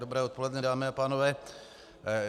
Dobré odpoledne, dámy a pánové.